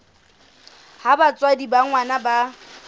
ha batswadi ba ngwana ba